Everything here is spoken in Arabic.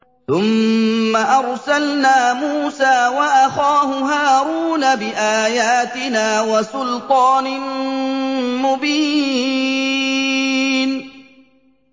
ثُمَّ أَرْسَلْنَا مُوسَىٰ وَأَخَاهُ هَارُونَ بِآيَاتِنَا وَسُلْطَانٍ مُّبِينٍ